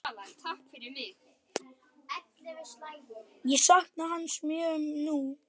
Ég sakna hans mjög nú.